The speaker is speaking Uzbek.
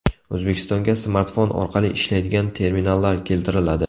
O‘zbekistonga smartfon orqali ishlaydigan terminallar keltiriladi.